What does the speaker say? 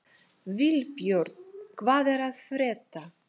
Vilbjörn, hvað er að frétta?